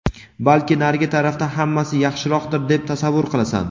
balki narigi tarafda hammasi yaxshiroqdir deb tasavvur qilasan.